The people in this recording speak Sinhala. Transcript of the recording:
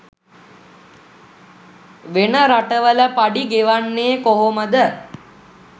වෙන රට වල පඩි ගෙවන්නේ කොහමද